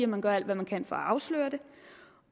man gør alt hvad man kan for at afsløre det